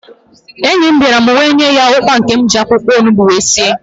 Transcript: Enyi m bịara, m wee nye ya ụkwa nke m ji akwụkwọ onugbu sie